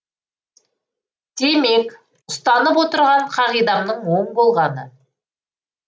демек ұстанып отырған қағидамның оң болғаны